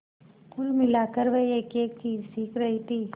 कुल मिलाकर वह एकएक चीज सीख रही थी